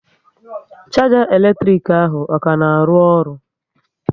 Sharger elektrik ahụ, ọ ka na arụ ọrụ?